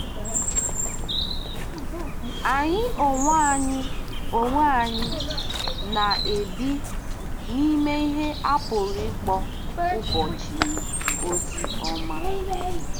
Anyị onwe anyị onwe anyị na-ebi n'ime ihe a pụrụ ịkpọ "ụbọchị ozi ọma."